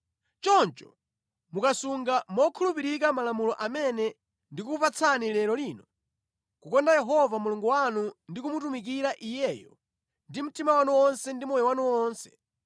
Choncho mukasunga mokhulupirika malamulo amene ndikukupatsani lero lino, kukonda Yehova Mulungu wanu ndi kumutumikira Iyeyo ndi mtima wanu wonse ndi moyo wanu wonse,